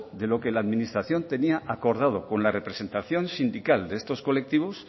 de lo que la administración tenía acordado con la representación sindical de estos colectivos